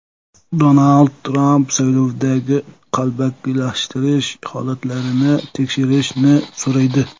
Donald Tramp saylovdagi qalbakilashtirish holatlarini tekshirishni so‘raydi.